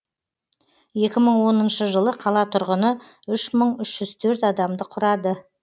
екі мың оныншы жылы қала тұрғыны үш мың үш жүз төрт адамды құрады